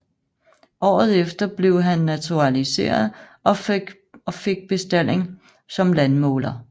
Året efter blev han naturaliseret og fik bestalling som landmåler